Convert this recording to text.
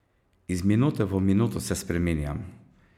Iz minute v minuto se spreminjam.